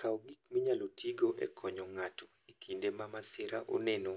Kaw gik minyalo tigo e konyo ng'ato e kinde ma masira oneno